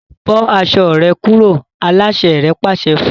Bó aṣọ rẹ kúrò! aláṣẹ rẹ̀ pàṣẹ fún un